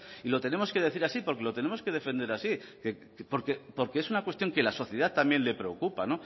y lo tenemos que decir así porque lo tenemos que defender así porque es una cuestión que a la sociedad también le preocupa